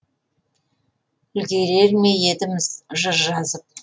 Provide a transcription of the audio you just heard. үлгірер ме едім жыр жазып